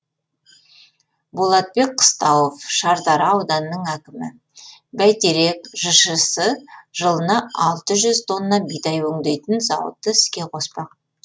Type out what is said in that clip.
болатбек қыстауов шардара ауданының әкімі бәйтерек жшс жылына алты жүз тонна бидай өңдейтін зауытты іске қоспақ